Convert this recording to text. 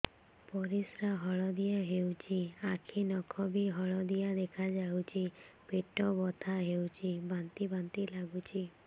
ପରିସ୍ରା ହଳଦିଆ ହେଉଛି ଆଖି ନଖ ବି ହଳଦିଆ ଦେଖାଯାଉଛି ପେଟ ବଥା ହେଉଛି ବାନ୍ତି ବାନ୍ତି ଲାଗୁଛି